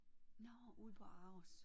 Nåh ude på ARoS